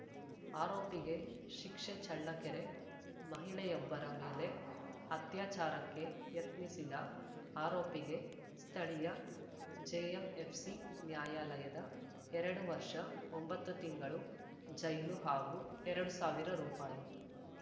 ಆರೋಪಿಗೆ ಶಿಕ್ಷೆ ಚಳ್ಳಕೆರೆ ಮಹಿಳೆಯೊಬ್ಬರ ಮೇಲೆ ಅತ್ಯಾಚಾರಕ್ಕೆ ಯತ್ನಿಸಿದ ಆರೋಪಿಗೆ ಸ್ಥಳೀಯ ಜೆಎಂಎಫ್‌ಸಿ ನ್ಯಾಯಾಲಯದ ಎರಡು ವರ್ಷ ಒಂಬತ್ತು ತಿಂಗಳು ಜೈಲು ಹಾಗೂ ಎರಡು ಸಾವಿರ ರುಪಾಯಿ